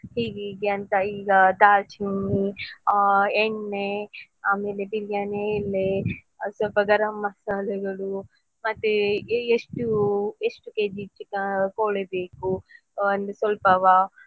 ಹೀಗೆ ಹೀಗೆ ಅಂತ ಈಗ दालचीनी ಆ ಎಣ್ಣೆ ಆಮೇಲೆ biriyani ಎಲೆ ಸ್ವಲ್ಪ ಗರಂ ಮಸಾಲೆಗಳು ಮತ್ತೇ ಎಷ್ಟು ಎಷ್ಟು kg chi~ ಕೋಳಿಬೇಕು ಅಂದ್ರೆ ಸ್ವಲ್ಪವಾ.